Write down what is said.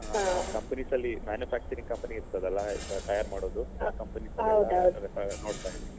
ಹಾ companies ಅಲ್ಲಿ manufacturing companies ಇರ್ತದಲ್ಲ ತಯಾರ್ಮಾಡುದು ಆ companies ಅಲ್ಲಿ ನೋಡ್ತಾ ಇದ್ದೀನಿ.